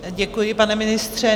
Děkuji, pane ministře.